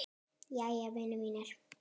Jæja, vinir mínir.